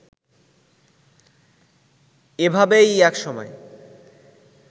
এভাবেই এক সময়